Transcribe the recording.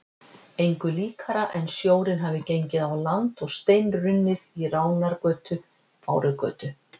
Engu líkara en sjórinn hefði gengið á land og steinrunnið í Ránargötu, Bárugötu